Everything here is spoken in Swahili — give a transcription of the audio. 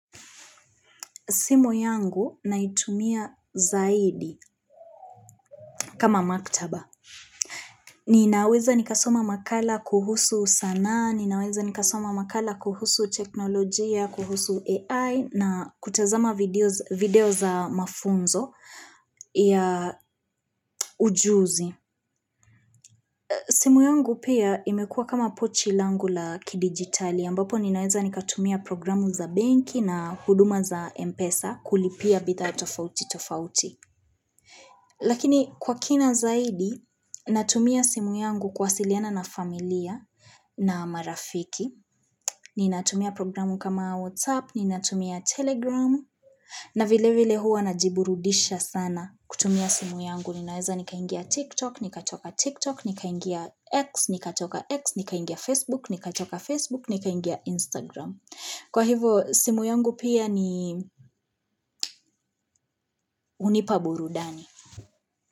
Simu yangu naitumia zaidi kama maktaba. Ninaweza nikasoma makala kuhusu sanaa, ninaweza nikasoma makala kuhusu teknolojia, kuhusu AI, na kutazama video za mafunzo ya ujuzi. Simu yangu pia imekuwa kama pochi langu la kidigitali, ambapo ninaweza nikatumia programu za benki na huduma za Mpesa kulipia bidhaa tofauti tofauti. Lakini kwa kina zaidi, natumia simu yangu kuwasiliana na familia na marafiki, ni natumia programu kama WhatsApp, ninatumia Telegram, na vile vile huwa najiburudisha sana kutumia simu yangu. Ninaweza nikaingia TikTok, nikatoka TikTok, nika ingia X, nika toka X, nika toka Facebook, nika toka Facebook, nika ingia Instagram. Kwa hivo, simu yangu pia ni hunipa burudani.